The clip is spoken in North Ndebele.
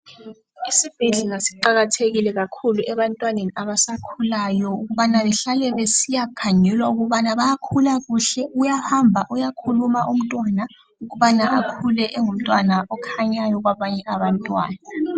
Isibhedlela siqakathekile kakhulu ebantwaneni abasakhulayo ukubana behlale besiya khangelwa ukubana bayakhula kuhle, uyahamba, uyakhuluma umntwana ukubana akhule engumntwana okhanyayo kwabanye abantwana.